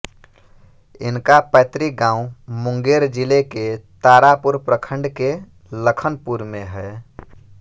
इनका पैतृक गाँव मुंगेर जिले के तारापुर प्रखंड के लखनपुर में है